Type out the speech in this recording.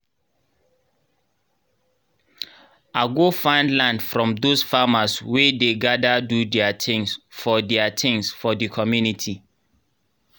i go find land from those farmers wey dey gather do their things for their things for the comunity